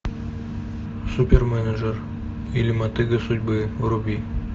ы